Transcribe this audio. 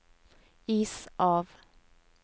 is av